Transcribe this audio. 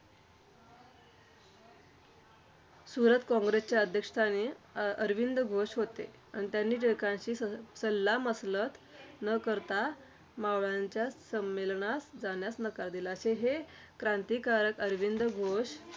सुरत काँग्रेसच्या अध्यक्षस्थानी अं अरविंद घोष होते. आणि त्यांनी टिळकांशी स सल्लामसलत न करता मवाळांच्या संमेलनास जाण्यास नकार दिला. ते हे क्रांतिकारक अरविंद घोष